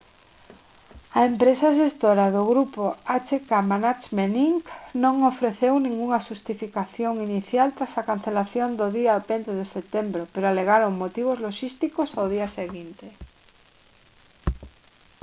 a empresa xestora do grupo hk management inc non ofreceu ningunha xustificación inicial tras a cancelación do día 20 de setembro pero alegaron motivos loxísticos ao día seguinte